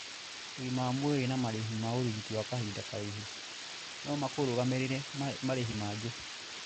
Ũgima wa mwĩrĩ na marĩhi ma ũrigiti wa kahinda karaihu no makũrũgamĩrĩre marĩhi mangĩ.